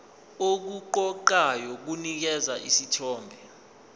okuqoqayo kunikeza isithombe